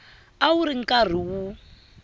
a wu ri karhi wu